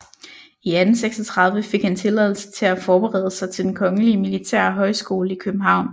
I 1836 fik han tilladelse til at forberede sig til Den kongelige militære Højskole i København